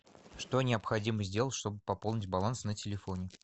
что необходимо сделать чтобы пополнить баланс на телефоне